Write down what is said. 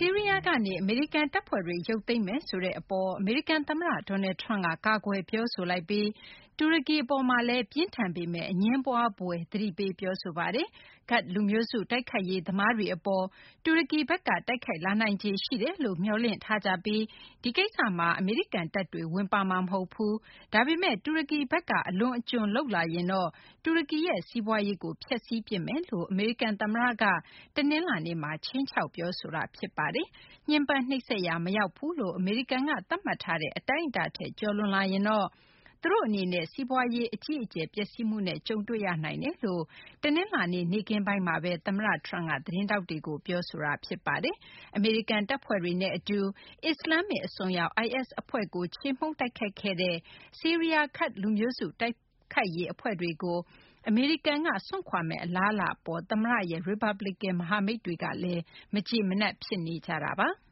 ီးရီးယားကနေ အမေရိကန် တပ်ဖွဲ့တွေ ရုပ်သိမ်းမယ် ဆိုတဲ့ အပေါ် အမေရိကန် သမ္မတ Donald Trum က ကာကွယ်ပြောဆိုလိုက်ပြီး တူရကီ အပေါ်မှာလည်း ပြင်းထန်ပေမယ့် အငြင်းပွားဖွယ် သတိပေး ပြောဆိုလိုက်ပါတယ်။ ကာဒ့် လူမျိုးစု တိုက်ခိုက်ရေးသမားတွေ အပေါ် တူရကီဘက်က တိုက်ခိုက်လာနိုင်ခြေ ရှိတယ်လို့ မျှော်လင့်ထားကြပြီး ဒီကိစ္စမှာ အမေရိကန် တပ်တွေ ဝင်ပါမှာ မဟုတ်ဘူး၊ ဒါပေမယ့် တူရကီဘက်က အလွန်အကျူး လုပ်လာရင်တော့ တူရကီရဲ့ စီးပွားရေးကို ဖျက်စီးပစ်မယ်လို့ အမေရိကန် သမ္မတက တနလာၤနေ့မှာ ခြိမ်းခြောက် ပြောဆိုလိုက်တာပါ။ ညှဉ်းပန်းနှိပ်စက်ရာ မရောက်ဘူးလို့ အမေရိကန်က သတ်မှတ်ထားတဲ့ အတိုင်းအတာထက် ကျော်လွန်လာရင်တော့ သူတို့ အနေနဲ့ စီးပွားရေး အကြီးအကျယ် ပျက်စီးမှုနဲ့ ကြုံတွေ့ရနိုင်တယ်လို့ တနလာၤနေ့ နေ့ခင်းပိုင်းမှာဘဲ သမ္မတ Trump က သတင်းထောက်တွေကို ပြောဆိုခဲ့တာပါ။ အမေရိကန် တပ်ဖွဲ့တွေနဲ့ အတူ အစ္စလာမ္မစ် အစွန်းရောက် IS အဖွဲ့ကို ချေမှုန်း တိုက်ခိုက်ခဲ့တဲ့ ဆီးရီးယား ကာဒ့် လူမျိုးစု တိုက်ခိုက်ရေး အဖွဲ့တွေကို အမေရိကန်က စွန့်ခွာမယ့် အလားအလာအပေါ် သမ္မတရဲ့ ရီပတ်ပလီကန် မဟာမိတ်တွေကလည်း မကျေမနပ် ဖြစ်နေကြပါတယ်။